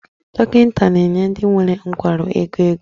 Dọkịta na-enye ndị nwere nkwarụ ego ego